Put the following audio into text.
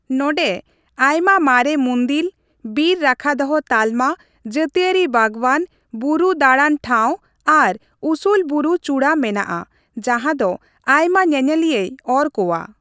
ᱱᱚᱰᱮᱸ ᱟᱭᱢᱟ ᱢᱟᱨᱮ ᱢᱩᱱᱫᱤᱞ, ᱵᱤᱨ ᱨᱟᱠᱷᱟᱫᱚᱦᱚ ᱛᱟᱞᱢᱟ, ᱡᱟᱹᱛᱤᱭᱟᱹᱨᱤ ᱵᱟᱜᱽᱣᱟᱱ, ᱵᱩᱨᱩ ᱫᱟᱲᱟᱱ ᱴᱷᱟᱶ ᱟᱨ ᱩᱥᱩᱞ ᱵᱩᱨᱩ ᱪᱩᱲᱟᱹ ᱢᱮᱱᱟᱜᱼᱟ ᱡᱟᱦᱟᱸ ᱫᱚ ᱟᱭᱢᱟ ᱧᱮᱧᱮᱞᱤᱭᱟᱹᱭ ᱚᱨ ᱠᱚᱣᱟ ᱾